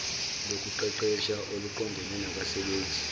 lokuqeqesha oluqondene nabasebenzi